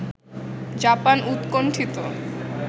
Japan উৎকণ্ঠিত